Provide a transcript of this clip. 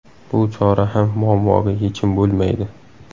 Bu chora ham muammoga yechim bo‘lmaydi.